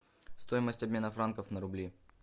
стоимость обмена франков на рубли